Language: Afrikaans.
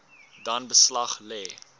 dan beslag lê